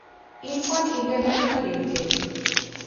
Ircon international limited